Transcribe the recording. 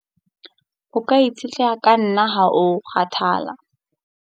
O ka itshetleha ka nna ha o kgathala.